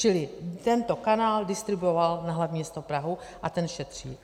Čili tento kanál distribuoval na hlavní město Prahu a ten šetří.